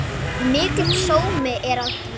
Mikill sómi er að því.